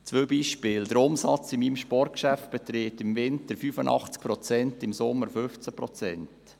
Zwei Beispiele: Der Umsatzanteil in meinem Sportgeschäft beträgt im Winter 85 Prozent, und im Sommer 15 Prozent.